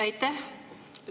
Aitäh!